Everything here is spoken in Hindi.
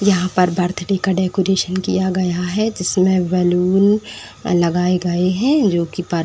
यहां पर बर्थडे का डेकोरेशन किया गया हो जिसमें बैलून लगाए गए हैं जोकि परपा --